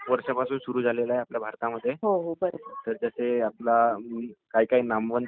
धोनी झाला ...धोनींनी खेळणं बंद केलय....ते आता निवृत्त झालेत...